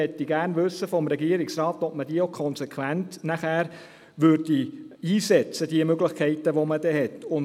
Und ich möchte vom Regierungsrat gerne wissen, ob man die Möglichkeiten, die man hat, auch konsequent einsetzen würde.